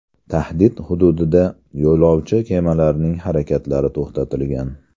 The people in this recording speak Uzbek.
Tahdid hududida yo‘lovchi kemalarining harakatlari to‘xtatilgan.